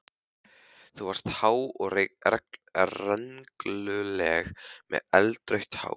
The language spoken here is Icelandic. Þú varst há og rengluleg með eldrautt hár.